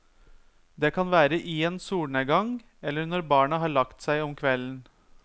Det kan være i en solnedgang, eller når barna har lagt seg om kvelden.